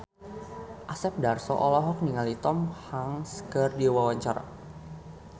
Asep Darso olohok ningali Tom Hanks keur diwawancara